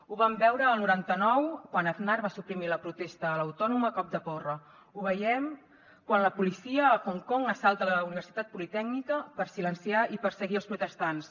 ho vam veure el noranta nou quan aznar va suprimir la protesta a l’autònoma a cop de porra ho veiem quan la policia a hong kong assalta la universitat politècnica per silenciar i perseguir els protestants